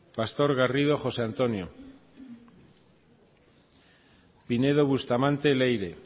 pastor garrido josé antonio pinedo bustamante leire